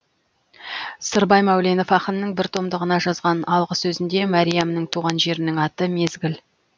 сырбай мәуленов ақынның бір томдығына жазған алғы сөзінде мәриямның туған жерінің аты мезгіл